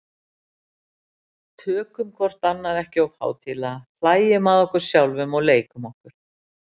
Tökum hvort annað ekki of hátíðlega, hlæjum að okkur sjálfum og leikum okkur.